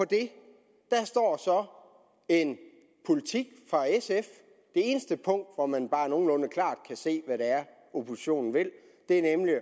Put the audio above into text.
det står så en politik fra sf det eneste punkt hvor man bare nogenlunde klart kan se hvad det er oppositionen vil er nemlig at